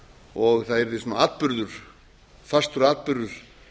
og það yrði fastur atburður